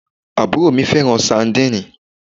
Àbúrò mi fẹ́ràn sandínì